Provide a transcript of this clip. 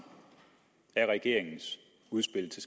af regeringens udspil til